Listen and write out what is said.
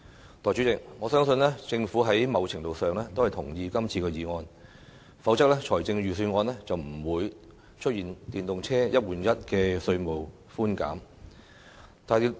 代理主席，我相信政府某程度上同意今次的議案，否則，財政預算案也不會出現電動車"一換一"的稅務寬減措施。